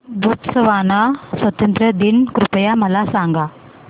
Botswana स्वातंत्र्य दिन कृपया मला सांगा